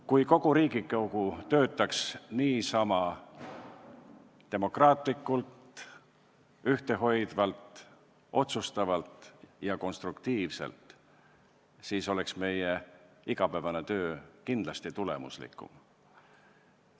Kui kogu Riigikogu töötaks niisama demokraatlikult, ühtehoidvalt, otsustavalt ja konstruktiivselt, siis oleks meie igapäevane töö kindlasti tulemuslikum.